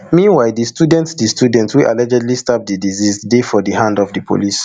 meanwhile di student di student wey allegedly stab di deceased dey for di hand of di police